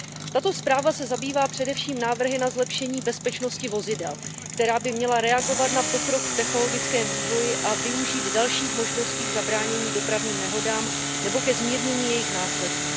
Tato zpráva se zabývá především návrhy na zlepšení bezpečnosti vozidel, která by měla reagovat na pokrok v technologickém vývoji a využít dalších možností k zabránění dopravním nehodám nebo ke zmírnění jejich následků.